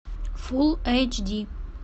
фулл эйч ди